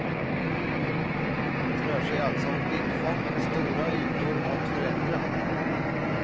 Det rör sig alltså om blickfång med stora ytor att förändra.